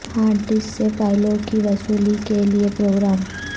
hard disk سے فائلوں کی وصولی کے لئے پروگرام